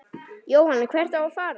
Jóhann: Hvert á að fara?